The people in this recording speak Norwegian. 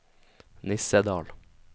Nissedal